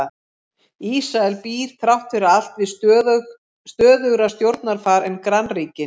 Ísrael býr þrátt fyrir allt við stöðugra stjórnarfar en grannríkin.